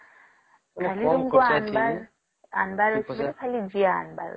ଖାଲି ତମକୁ ଆଣିବାର ..ଆଣିବାର ଅଛି ଖାଲି ଜିଆ ଆଣିବାର ଅଛି